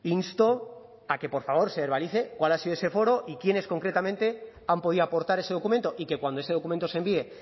insto a que por favor se verbalice cuál ha sido ese foro y quiénes concretamente han podido aportar ese documento y que cuando ese documento se envíe